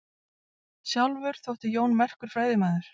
Sjálfur þótti Jón merkur fræðimaður.